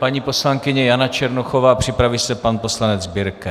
Paní poslankyně Jana Černochová, připraví se pan poslanec Birke.